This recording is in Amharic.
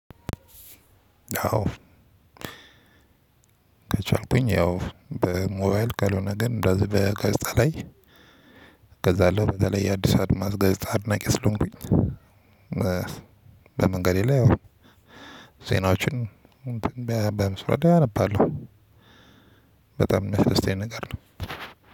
ያው ከቻልኩኝ ያው በሞባይል ካልሆነ ግን እንደዚህ በጋዜጣ ላይ እገዛለሁ በተለይ የአዲስ አድማስ ጋዜጣ አድናቂ አስሎንኩኝ በመንገዴ ላይ ያው ዜናዎችን በመስራት አነባለሁ በጣም የመፍረስ አይነት ነገር ነው።